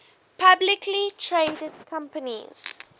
publicly traded companies